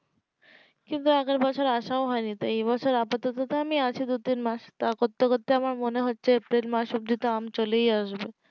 কিন্তু আগের বছর আসাও হয়নি তো তো এই বছর তো আপাতত আমি আছি দু তিন মাস তা করতে করতে আমার মনে হচ্ছে april মাস অব্দি তো আম চলেই আসবে